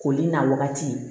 Koli n'a wagati